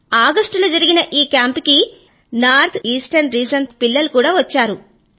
August లో జరిగిన ఆ కేంప్ కి నెర్ నార్త్ ఈస్టర్న్ రీజియన్ తాలూకూ పిల్లలు కూడా వచ్చారు